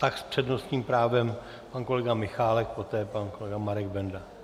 Tak s přednostním právem pan kolega Michálek, poté pan kolega Marek Benda.